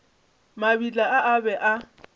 mabitla a a be a